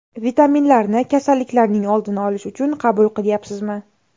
Vitaminlarni kasalliklarning oldini olish uchun qabul qilayapsizmi?